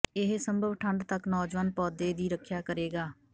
ਇਹ ਸੰਭਵ ਠੰਡ ਤੱਕ ਨੌਜਵਾਨ ਪੌਦੇ ਦੀ ਰੱਖਿਆ ਕਰੇਗਾ